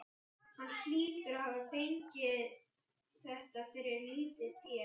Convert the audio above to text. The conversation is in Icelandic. Hann hlýtur að hafa fengið þetta fyrir lítið fé.